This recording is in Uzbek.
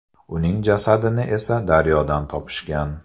Uning jasadini esa daryodan topishgan.